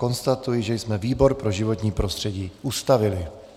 Konstatuji, že jsme výbor pro životní prostředí ustavili.